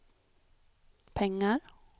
pengar